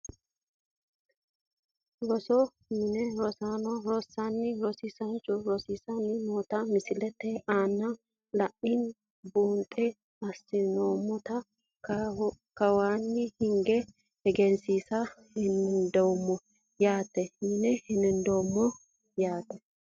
Rosu mine rosaano rosanna rosiisanchu risiisani noota misilete aana la`ate buuxi asinoomata kawaani hinge egensiisa dandiinemo yaate yine hendeemo yaate.